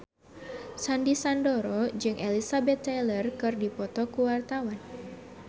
Sandy Sandoro jeung Elizabeth Taylor keur dipoto ku wartawan